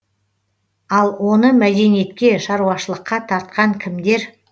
ал оны мәдениетке шаруашылыққа тартқан кімдер